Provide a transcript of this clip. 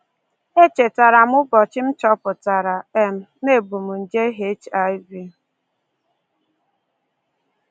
Echetara m ụbọchị m chọpụtara um na ebu m nje HIV